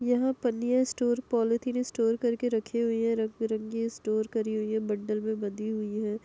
यहाँं पन्नियां store polythene store करके रखी हुई हैं। रंग बिरंगी स्टोर करी हुई है। बंडल में बंधी हुई है।